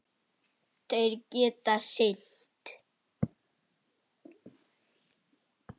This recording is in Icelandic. Þær eru allar látnar.